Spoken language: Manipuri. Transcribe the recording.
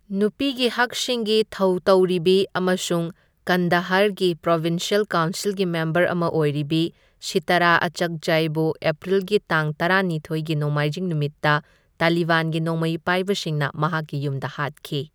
ꯅꯨꯄꯤꯒꯤ ꯍꯛꯁꯤꯡꯒꯤ ꯊꯧꯇꯧꯔꯤꯕꯤ ꯑꯃꯁꯨꯡ ꯀꯟꯗꯥꯍꯔꯒꯤ ꯄ꯭ꯔꯣꯕꯤꯟꯁ꯭ꯌꯦꯜ ꯀꯥꯎꯟꯁꯤꯜꯒꯤ ꯃꯦꯝꯕꯔ ꯑꯃ ꯑꯣꯏꯔꯤꯕꯤ, ꯁꯤꯇꯥꯔꯥ ꯑꯆꯛꯖꯥꯏꯕꯨ ꯑꯦꯄ꯭ꯔꯤꯜꯒꯤ ꯇꯥꯡ ꯇꯔꯥꯅꯤꯊꯣꯢꯒꯤ ꯅꯣꯡꯃꯥꯢꯖꯤꯡ ꯅꯨꯃꯤꯠꯇ ꯇꯥꯂꯤꯕꯥꯟꯒꯤ ꯅꯣꯡꯃꯩ ꯄꯥꯢꯕꯁꯤꯡꯅ ꯃꯍꯥꯛꯀꯤ ꯌꯨꯝꯗ ꯍꯥꯠꯈꯤ꯫